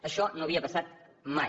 això no havia passat mai